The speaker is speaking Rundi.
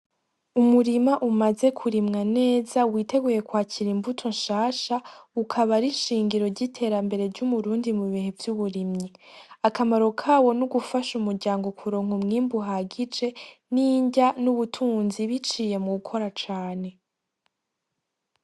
Umurima umaze kurima neza witeguye kw'akira imbuto nshasha, ukaba ari inshingiro ry'iterambere ry'umurundi mubihe vy'uburimyi, akamaro kawo n'ugufasha umuryango kuronka umwimbu uhagije n'inrya, n'ubutunzi biciye mugukora cane.